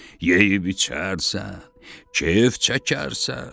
Yeyib-içərsən, kef çəkərsən.